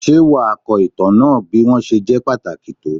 Ṣé wàá ko ìtàn náà bí wọ́n ṣe jẹ́ pàtàkì tó?